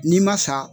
N'i ma sa